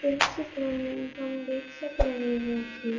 इस चित्र में हम देख सक रहे हैं कि --